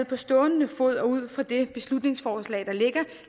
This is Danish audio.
på stående fod og ud fra det beslutningsforslag der ligger